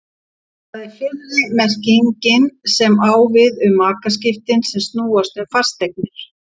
Það er fyrri merkingin sem á við um makaskipti sem snúast um fasteignir.